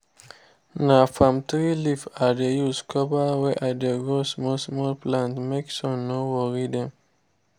na palm tree leaf i dey use cover where i dey grow small small plants make sun no worry them